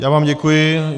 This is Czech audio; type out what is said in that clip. Já vám děkuji.